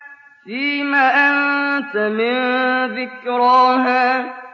فِيمَ أَنتَ مِن ذِكْرَاهَا